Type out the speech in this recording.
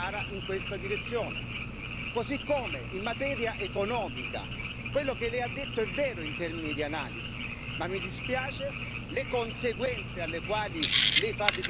Così come in materia economica, quello che lei ha detto è vero in termini di analisi, ma mi dispiace, le conseguenze alle quali lei fa riferimento sono assolutamente sbagliate.